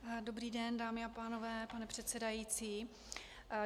Dobrý den, dámy a pánové, pane předsedající.